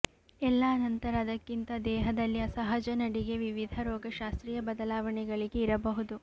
ಎಲ್ಲಾ ನಂತರ ಅದಕ್ಕಿಂತ ದೇಹದಲ್ಲಿ ಅಸಹಜ ನಡಿಗೆ ವಿವಿಧ ರೋಗಶಾಸ್ತ್ರೀಯ ಬದಲಾವಣೆಗಳಿಗೆ ಇರಬಹುದು